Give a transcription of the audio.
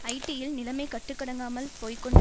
ஹைட்டியில் நிலைமை கட்டுக்கடங்காமல் போய்கொண்டு